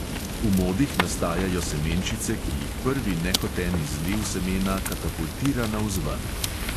V modih nastajajo semenčice, ki jih prvi nehoten izliv semena katapultira navzven.